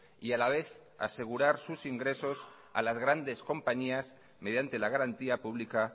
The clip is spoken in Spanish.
y a la vez asegurar sus ingresos a las grandes compañías mediante la garantía pública